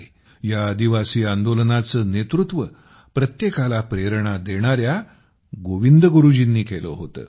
या आदिवासी आंदोलनाचे नेतृत्व प्रत्येकाला प्रेरणा देणाऱ्या गोविंद गुरुजींनी केले होते